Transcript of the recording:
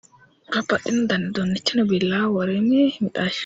Babbaxxino dani uduunnichi no billawa worime mixasho